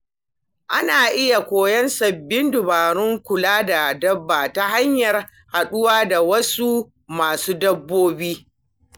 Ana iya koyan sabbin dabarun kula da dabba ta hanyar haɗuwa da wasu masu dabbobi.